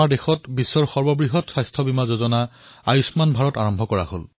২০১৮ চনত বিশ্বৰ সকলোতকৈ ডাঙৰ স্বাস্থ্য বীমা যোজনা আয়ুষ্মান ভাৰতৰ শুভাৰম্ভ হৈছে